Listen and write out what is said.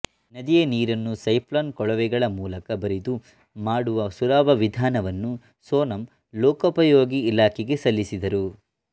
ನದಿಯ ನೀರನ್ನು ಸೈಫ಼ನ್ ಕೊಳವೆಗಳ ಮೂಲಕ ಬರಿದು ಮಾಡುವ ಸುಲಭ ವಿಧಾನವನ್ನು ಸೋನಂ ಲೋಕೋಪಯೋಗಿ ಇಲಾಖೆಗೆ ಸಲ್ಲಿಸಿದರು